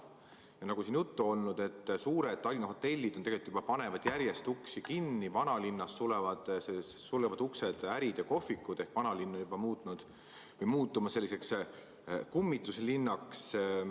Ja nagu siin juttu on olnud, panevad suured Tallinna hotellid juba järjest uksi kinni, vanalinnas sulevad uksed ärid ja kohvikud, nii et vanalinn on muutumas selliseks kummituslinnaks.